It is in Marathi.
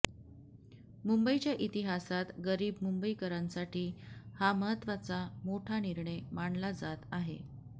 मुंबईच्या इतिहासात गरीब मुंबईकरांसाठी हा महत्वाचा मोठा निर्णय मानला जात आहे